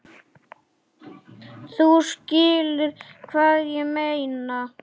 Þú skilur hvað ég meina?